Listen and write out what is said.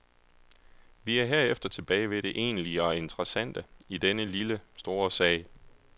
Vi er herefter tilbage ved det egentlige og interessante i denne lille, store sag.